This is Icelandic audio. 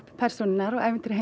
persónurnar og